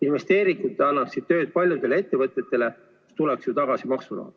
Investeeringud annaksid tööd paljudele ettevõtetele, maksuraha tuleks ju tagasi.